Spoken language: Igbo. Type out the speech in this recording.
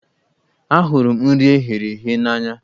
Ahụrụ m nri eghere eghe n'anya.